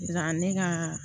Ne ka